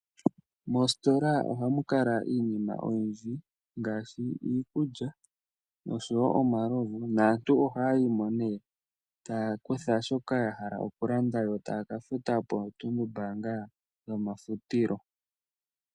Moostola ohamu kala iinima oyindji, ngaashi iikulya nosho wo omalovu, naantu ohaya yimo nee ta ya kutha shoka ya hala okulanda, yo taya kafuta poo tulumbaanga dho ma futilo.